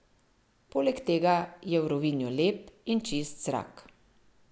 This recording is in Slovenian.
Poleg tega je v Rovinju lep in čist zrak.